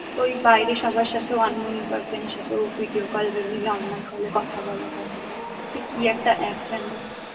ওই বাইরো সবার সাথে unknown person র সাথেও video call বা normal call কথা বলা যায় কি একটা app যেন?